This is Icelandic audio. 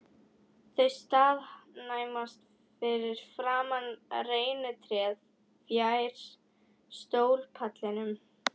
Þau staðnæmast fyrir framan reynitréð fjær sólpallinum.